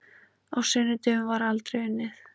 Á sunnudögum var aldrei unnið.